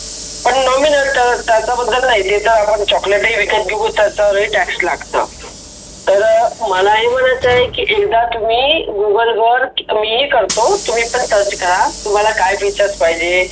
पण नवमी नंतर त्याच्या बद्दल नाही ते त आपण chocolate तही विकत घेतो त्यावरही tax लागतो. तर मला एवढं म्हणायचं एकदा तुम्ही google वर मी ही करतो, तुम्ही पण search करा तुम्हाला काय features पाहिजे.